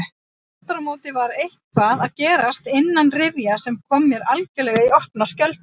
Afturámóti var eitthvað að gerast innanrifja sem kom mér algerlega í opna skjöldu.